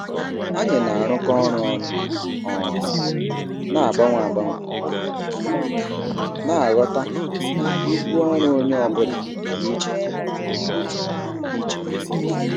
Anyị na-arụkọ ọrụ ọnụ um na-agbanwe agbanwe, na-aghọta na ibu ọrụ onye ọ bụla dị iche um iche.